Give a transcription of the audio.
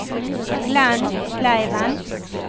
Glenn Kleiven